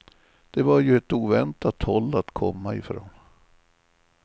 Det var ju ett oväntat håll att komma ifrån.